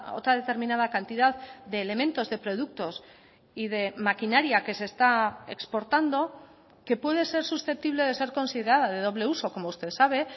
otra determinada cantidad de elementos de productos y de maquinaria que se está exportando que puede ser susceptible de ser considerada de doble uso como usted sabe